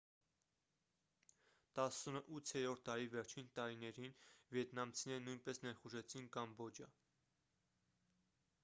18-րդ դարի վերջին տարիներին վիետնամցիները նույնպես ներխուժեցին կամբոջա